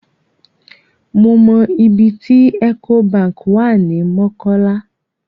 Mo mọ ibi tí Ecobank wà ní Mọ́kọ́lá.